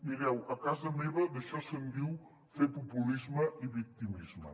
mireu a casa meva d’això se’n diu fer populisme i victimisme